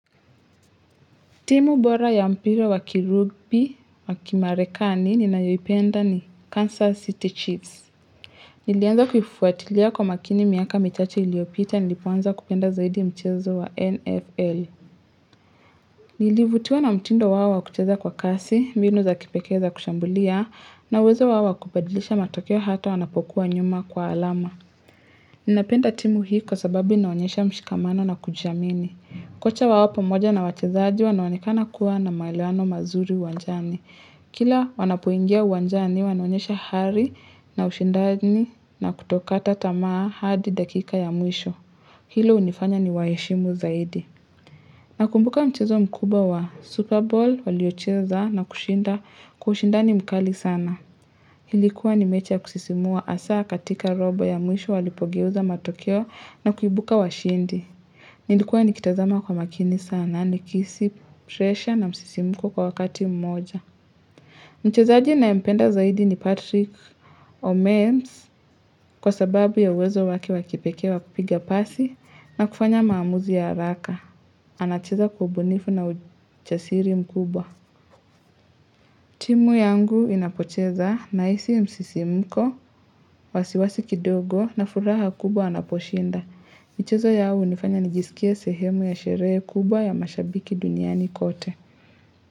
Timu bora ya mpira wakirubi, wakimarekani, ninayoipenda ni Kansas City Chiefs. Nilianza kuifuatilia kwa makini miaka michache iliyopita, nilipoanza kupenda zaidi mchezo wa NFL. Nilivutiwa na mtindo wao wa kucheza kwa kasi, mbinu za kipekeza kushambulia, na uwezo wawa kupadilisha matokeo hato wanapokuwa nyuma kwa alama. Ninapenda timu hii kwa sababu inaonyesha mshikamano na kujiamini. Kila wanapoingia uwanjani, wanaonyesha hali na ushindani na kutokata tamaa hadi dakika ya mwisho. Hilo hunifanya niwaheshimu zaidi. Nakumbuka mchezo mkuba wa Super Bowl, uliocheza na kushinda kwa ushindani mkali sana. Ilikuwa ni mechi ya kusisimua hasa katika robo ya mwisho walipogeuza matokeo na kuibuka washindi. Nilikuwa nikitazama kwa makini sana, nikihisi, presha na msisimuko kwa wakati mmoja. Mchezaji nayempenda zaidi ni Patrick Omeems kwa sababu ya uwezo wake wakipekee wa kupiga pasi na kufanya maamuzi ya haraka. Anacheza kwa ubunifu na uchasiri mkubwa. Timu yangu inapocheza nahisi msisimko, wasiwasi kidogo na furaha kubwa anaposhinda. Mchezo ya au hunifanya nijisikea sehemu ya sherehe kubwa ya mashabiki duniani kote.